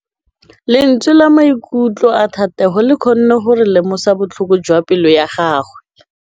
Lentswe la maikutlo a Thategô le kgonne gore re lemosa botlhoko jwa pelô ya gagwe.